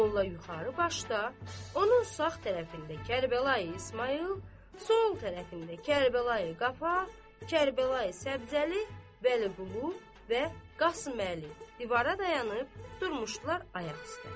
Molla yuxarı başda, onun sağ tərəfində Kərbəlayı İsmayıl, sol tərəfində Kərbəlayı Qaba, Kərbəlayı Səbzəli, Vəliqulu və Qasıməli divara dayanıb durmuşdular ayaq üstə.